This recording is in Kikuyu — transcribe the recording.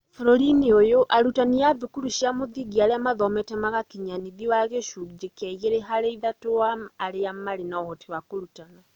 Bũrũri-inĩ ũyũ, arutani a thukuru cia mũthingi arĩa maathomete na magakinyia nĩthiĩ wa gĩcunjĩ kĩa igĩrĩ harĩ ithatũ wa arĩa marĩ na ũhoti wa kũrutana.